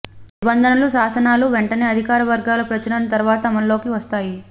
నిబంధనలు శాసనాలు వెంటనే అధికార వర్గాలు ప్రచురణ తర్వాత అమలులోకి వస్తాయి